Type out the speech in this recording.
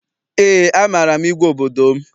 Eé, amaara m igwe obodo m.